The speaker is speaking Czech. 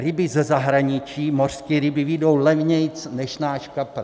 Ryby ze zahraničí, mořské ryby vyjdou levněji než náš kapr.